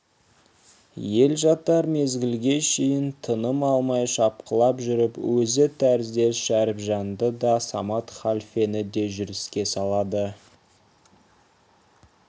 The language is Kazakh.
ел жатар мезгілге шейін тыным алмай шапқылап жүріп өзі тәріздес шәріпжанды да самат халфені де жүріске салады